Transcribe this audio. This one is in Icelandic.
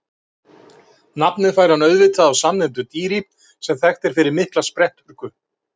Nafnið fær hann auðvitað af samnefndu dýri sem þekkt er fyrir mikla spretthörku.